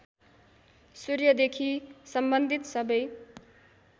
सूर्यदेखि सम्बन्धित सबै